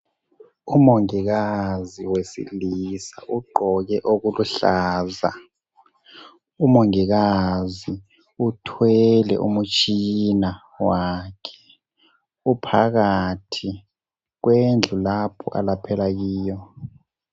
Umongikazi wesilisa ugqoke okuluhlaza umongikazi uthwele umutshi wakhe uphakathi kwendlu lapho alaphela kuyo.